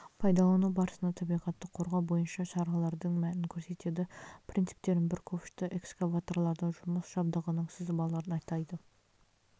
пайдалану барысында табиғатты қорғау бойынша шаралардың мәнін көрсетеді принциптерін бір ковшты эксвакаторлардың жұмыс жабдығының сызбаларын атайды